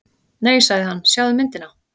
Nei sagði hann, sjáðu myndina.